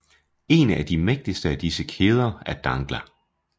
En af de mægtigste af disse kæder er Dangla